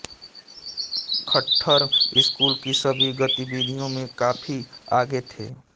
Khattar school की सभी गतिविधियों में काफी आगे थे